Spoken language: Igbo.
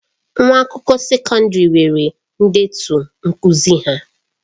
Nwa akwụkwọ sekọndrị nwere ndetu nkuzi ha.